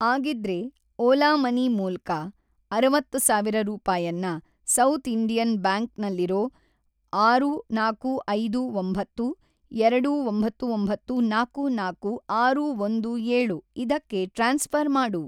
ಆಗಿದ್ರೆ, ಓಲಾ ಮನಿ ಮೂಲ್ಕ ಅರವತ್ತು ಸಾವಿರ ರೂಪಾಯನ್ನ ಸೌಥ್‌ ಇಂಡಿಯನ್‌ ಬ್ಯಾಂಕ್ ನಲ್ಲಿರೋ ಆರು ನಾಲ್ಕು ಐದು ಒಂಬತ್ತು ಎರಡು ಒಂಬತ್ತು ಒಂಬತ್ತು ನಾಲ್ಕು ನಾಲ್ಕು ಆರು ಒಂದು ಏಳು ಇದಕ್ಕೆ ಟ್ರಾನ್ಸ್‌ಫ಼ರ್‌ ಮಾಡು.